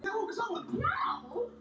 Linda: Já, ertu löngu viss?